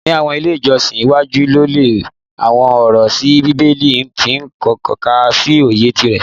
Ni awọn ile ijọsin iwaju le lo awọn ọrọ si bibeli ti n tọka si oye ti ara